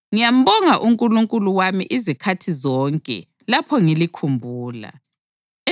Ngiyambonga uNkulunkulu wami izikhathi zonke lapho ngilikhumbula.